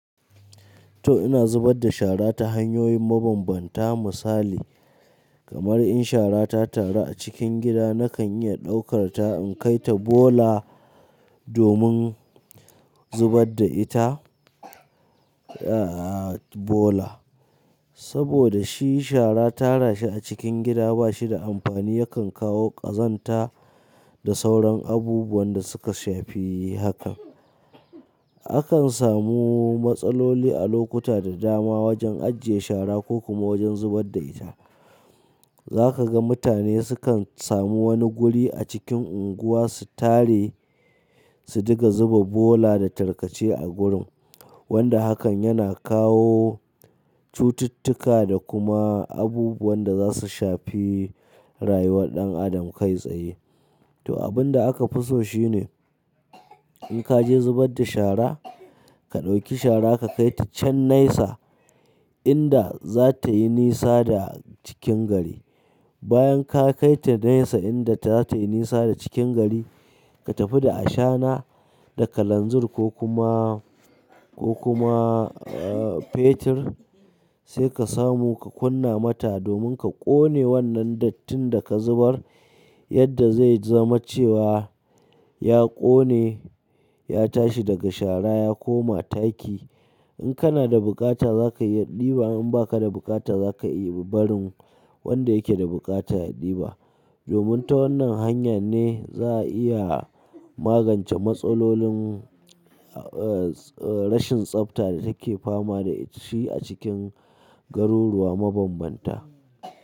To ina zubar da shara ta hanyoyin mabambanta misali kamar in shara ta tara a cikin gida nakan iya ɗaukar ta in kai ta bola domin zubar da ita aa bola. Saboda shi shara tara shi a cikin gida ba shi da amfani yakan kawo ƙazanta da sauran abubuwan da suka shafi hakan. Akan samu matsaloli a lokuta da dama wajen ajiye shara ko kuma wajen zubar da ita. Za ka ga mutane sukan samu wani guri a cikin unguwa su tare, su diga zuba bola da tarkace a gurin. Wanda hakan yana kawo cututtuka da kuma abubuwan da za su shafi rayuwar ɗan adam kai tsaye. To abun da aka fi so shine in ka je zubar da shara, ka ɗauki shara ka kai ta can naisa inda za ta yi nisa da cikin gari. Bayan ka kai ta naisa inda ta yi nisa da cikin gari, ka tafi da ashana da kalanzir ko kuma ko kuma aa fetir sai ka samu ka kunna mata domin ka ƙone wannan dattin da ka zubar yadda zai zama cewa ya ƙone, ya tashi daga shara ya koma taki. In kana da buƙata za ka yi ɗiba in ba ka da buƙata za ka yi barin wanda yake da buƙata ya ɗiba. Domin ta wannan hanyar ne za a iya magance matsalolin ee rashin tsafta da take fama da shi a cikin garuruwa mabambanta.